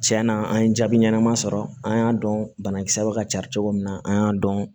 Tiɲɛna an ye jaabi ɲɛnama sɔrɔ an y'a dɔn banakisɛw bɛ ka cari cogo min na an y'a dɔn